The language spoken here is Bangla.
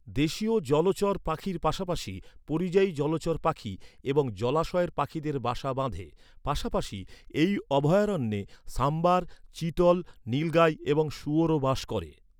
দেশীয় জলচর পাখির পাশাপাশি পরিযায়ী জলচর পাখি এবং জলাশয়ের পাখিদের বাসা বাঁধে। পাশাপাশি, এই অভয়ারণ্যে সাম্বার, চিতল, নীলগাই এবং শুয়োরও বাস করে।